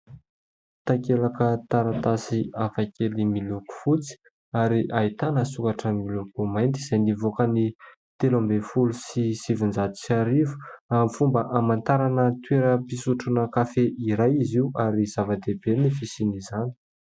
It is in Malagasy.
Takelaka taratasy hafakely miloko fotsy ary ahitana soratra miloko mainty izay nivoaka ny telo ambin'ny folo sy sivinjato sy arivo amin'ny fomba hamantarana toeram-pisotroana kafe iray izy io ary zava-dehibe ny fisian'izany.